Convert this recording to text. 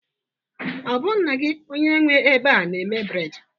Ọ bụ nna gị onye nwe ebe a na-eme bred